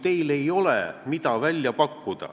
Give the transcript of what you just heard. Definitsioon ei muutu iseenesest ideaalseks.